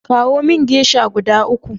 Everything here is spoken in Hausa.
Kawo min geisha guda uku.